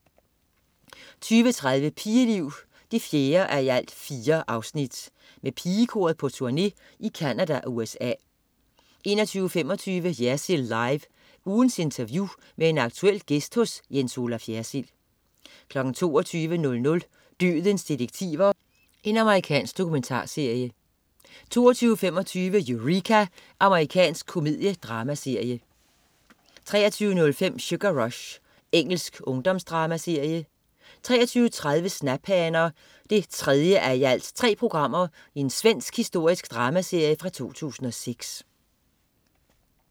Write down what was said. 20.30 Pigeliv 4:4. Med Pigekoret på turné i Canada og USA 21.25 Jersild Live. Ugens interview med en aktuel gæst hos Jens Olaf Jersild 22.00 Dødens detektiver. Amerikansk dokumentarserie 22.25 Eureka. Amerikansk komediedramaserie 23.05 Sugar Rush. Engelsk ungdomsdramaserie 23.30 Snaphaner 3:3. Svensk historisk dramaserie fra 2006